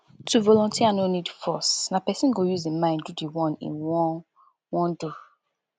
to volunteer no need force na person go use im mind do di one im won won do